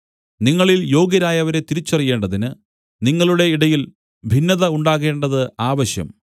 നിങ്ങളിൽ യോഗ്യരായവരെ തിരിച്ചറിയേണ്ടതിന് നിങ്ങളുടെ ഇടയിൽ ഭിന്നത ഉണ്ടാകേണ്ടത് ആവശ്യം